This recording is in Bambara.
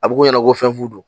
A bɛ ko ɲɛnabɔ fɛn fu do